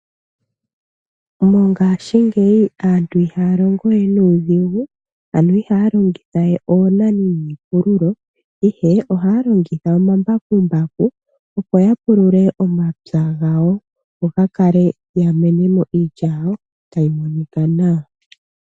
Mongaashingeyi aantu ihaya longo we nuudhigu ano ihaya longitha we oonani niipululo, ihe ohaya longitha omambakumbaku opo ya pulule omapya gawo go ga kale, ya menithe mo iilya yawo tayi monika nawa.